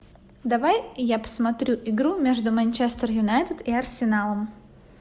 давай я посмотрю игру между манчестер юнайтед и арсеналом